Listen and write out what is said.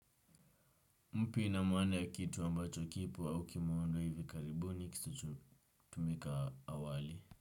Mpya ina maana ya kitu ambacho kipo au ukimeundwa hivi karibuni kisichotumika awali.